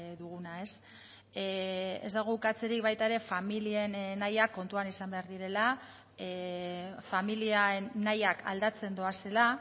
duguna ez dago ukatzerik baita ere familien nahiak kontuan izan behar direla familien nahiak aldatzen doazela